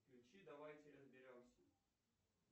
включи давайте разберемся